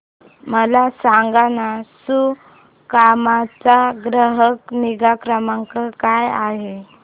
मला सांगाना सुकाम चा ग्राहक निगा क्रमांक काय आहे